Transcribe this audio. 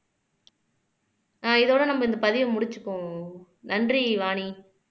ஆஹ் இதோட நம்ம இந்த பதிவை முடிச்சுக்குவோம் நன்றி வாணி